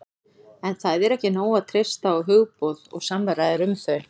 en það er ekki nóg að treysta á hugboð og samræður um þau